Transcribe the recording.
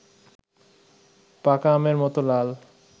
পাকা আমের মত লাল